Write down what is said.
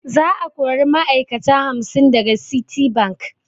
Za a kori ma'ai'kata hamsin daga Citibank.